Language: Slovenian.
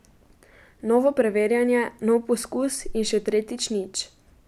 Novo preverjanje, nov poskus in še tretjič nič.